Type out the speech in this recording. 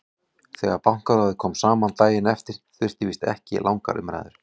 Þegar Bankaráðið kom saman daginn eftir þurfti víst ekki langar umræður.